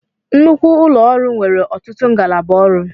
Nnukwu ụlọ ọrụ nwere ọtụtụ ngalaba ọrụ